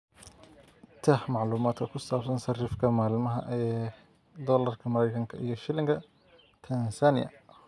tax macluumaadka ku saabsan sarifka maalinlaha ah ee doolarka Mareykanka iyo shilinka Tansaaniya